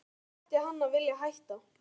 Af hverju ætti hann að vilja hætta?